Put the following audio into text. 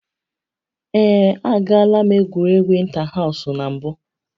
Ee, agaala m egwuregwu ịntahaụsụ na mbụ